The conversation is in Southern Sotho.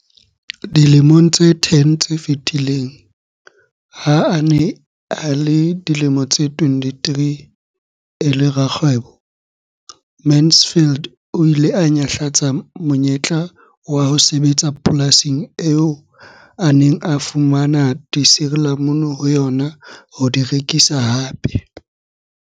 Dilemong tse 10 tse fetileng, ha a ne a le dilemo tse 23 e le rakgwebo, Mansfield o ile a nyahlatsa monyetla wa ho sebetsa polasing eo a neng a fumana disirilamunu ho yona ho di rekisa hape.